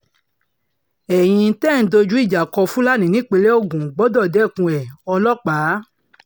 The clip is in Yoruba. ẹ̀yin tẹ́ ẹ̀ ń dojú ìjà kó fúlàní nípínlẹ̀ ogun gbọdọ̀ dẹkùn ẹ̀-ọlọ́pàá